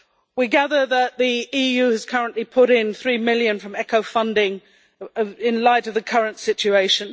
We gather that the EU has currently put in EU 3 million from ECHO funding in light of the current situation.